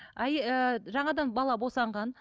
ііі жаңадан бала босанған